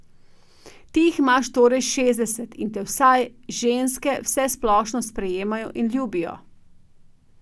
Ti jih imaš torej šestdeset in te vsaj ženske vsesplošno sprejemajo in ljubijo.